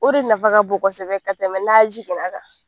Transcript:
O de nafa ka bon kosɛbɛ ka tɛmɛ n'a jiginna kan.